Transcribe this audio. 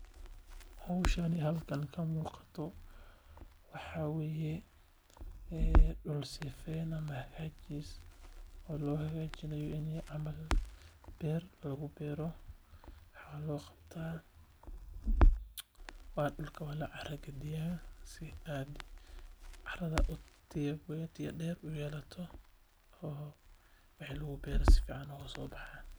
Howshan halkan ka muuqato waxaa waye dul sifeen ama hagaajis loo hagaajinaayo inaay beer kabaxdo carada waa lagadiyaa si waxi lagu beero sifican uga soo baxaan.